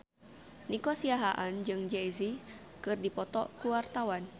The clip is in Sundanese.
Nico Siahaan jeung Jay Z keur dipoto ku wartawan